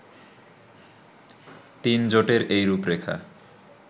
তিন জোটের এই রূপরেখা